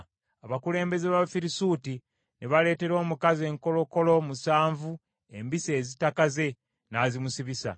Abakulembeze b’Abafirisuuti ne baleetera omukazi enkolokolo musanvu embisi ezitakaze, n’azimusibya.